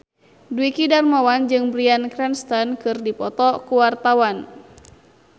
Dwiki Darmawan jeung Bryan Cranston keur dipoto ku wartawan